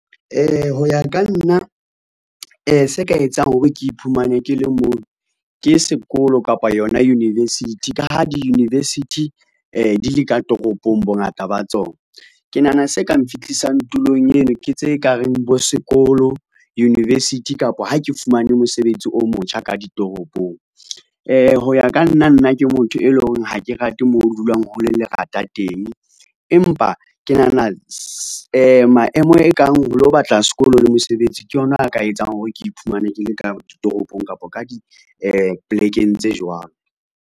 Ho ya ka nna se ka etsang hore ke iphumane ke le moo, ke sekolo kapa yona university. Ka ha di-university di le ka toropong bongata ba tsona. Ke nahana se kang fihlisang tulong eno, ke tse kareng bo sekolo, university kapo ha ke fumane mosebetsi o motjha ka ditoropong. Ho ya ka nna nna ke motho e leng hore ha ke rate moo ho dulang hole lerata teng. Empa ke nahana maemo ekang ho lo batla sekolo le mosebetsi ke yona a ka etsang hore ke iphumane ke le ka ditoropong kapa ka polekeng tse jwalo.